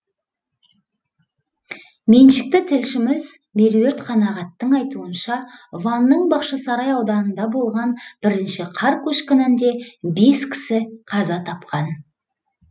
меншікті тілшіміз меруерт қанағаттың айтуынша ванның бақшасарай ауданында болған бірінші қар көшкінінде бес кісі қаза тапқан